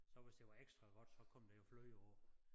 Så hvis det var ekstra godt så kom de jo fløde på